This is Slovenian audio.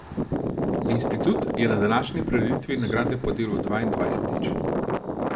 Institut je na današnji prireditvi nagrade podelil dvaindvajsetič.